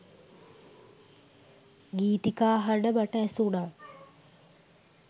ගීතිකා හඬ මට ඇසුණා